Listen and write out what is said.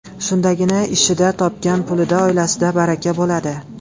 Shundagina ishida, topgan pulida, oilasida baraka bo‘ladi.